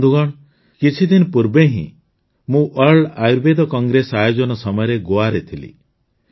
ବନ୍ଧୁଗଣ କିଛିଦିନ ପୂର୍ବେ ହିଁ ମୁଁ ୱାର୍ଲଡ ଆୟୁର୍ବେଦ କଂଗ୍ରେସ ଆୟୋଜନ ସମୟରେ ଗୋଆରେ ଥିଲି